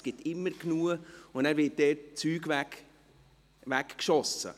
Es gibt immer genug, und dann wird Essen weggeworfen.